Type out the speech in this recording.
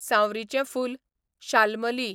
सांवरीचें फूल, शाल्मली